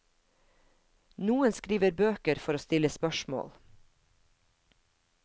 Noen skriver bøker for å stille spørsmål.